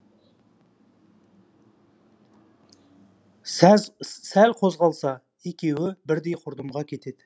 сәл қозғалса екеуі бірдей құрдымға кетеді